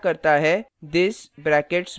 यह सामना करता है this brackets में 11 statement